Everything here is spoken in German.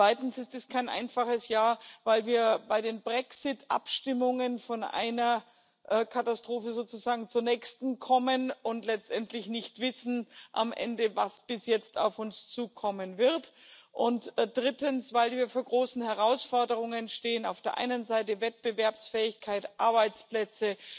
Zweitens ist es kein einfaches Jahr, weil wir bei den Brexit-Abstimmungen von einer Katastrophe sozusagen zur nächsten kommen und letztendlich nicht wissen, was am Ende auf uns zukommen wird, und drittens, weil wir vor großen Herausforderungen stehen auf der einen Seite die Förderung von Wettbewerbsfähigkeit, Arbeitsplätzen,